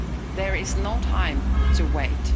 There is no time to wait.